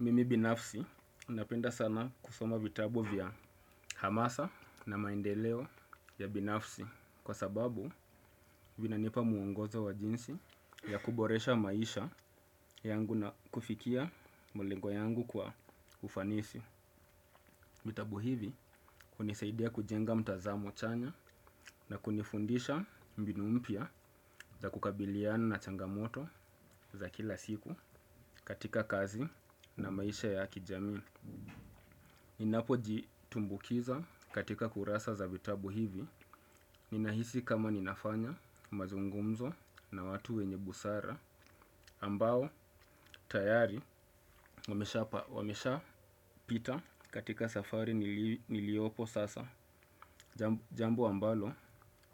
Mimi binafsi napenda sana kusoma vitabu vya hamasa na maendeleo ya binafsi. Kwa sababu vina nipa muongozo wa jinsi ya kuboresha maisha yangu na kufikia mulengo yangu kwa ufanisi. Vitabu hivi kunisaidia kujenga mtazamo chanya na kunifundisha mbinu mpya za kukabiliana na changamoto za kila siku katika kazi na maisha ya kijamii. Ninapo jitumbukiza katika kurasa za vitabu hivi. Ninahisi kama ninafanya mazungumzo na watu wenye busara ambao tayari wamesha pita katika safari niliyopo sasa. Jambo ambalo